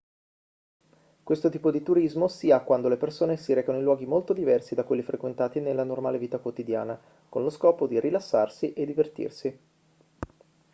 questo tipo di turismo si ha quando le persone si recano in luoghi molto diversi da quelli frequentati nella normale vita quotidiana con lo scopo di rilassarsi e divertirsi